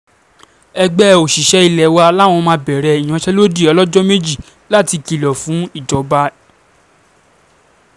ẹgbẹ́ òṣìṣẹ́ ilé wa làwọn máa bẹ̀rẹ̀ ìyanṣẹ́lódì ọlọ́jọ́ méjì láti kìlọ̀ fún ìjọba